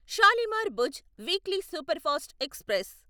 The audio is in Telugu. Shalimar Bhuj weekly superfast express